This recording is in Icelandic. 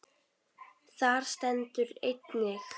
Þar stendur einnig